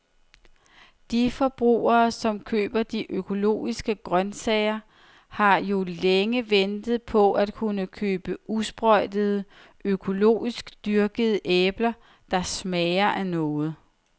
De forbrugere, som køber de økologiske grøntsager, har jo længe ventet på at kunne købe usprøjtede, økologisk dyrkede æbler, der smager af noget.